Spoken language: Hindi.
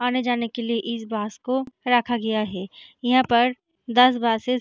आने जाने के लिए इस बस को रखा गया हैं यहाँ पर दस बसेस --